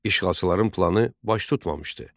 İşğalçıların planı baş tutmamışdı.